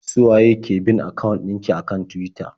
Su waye ki bin akawun ɗin ki a kan Tuwita?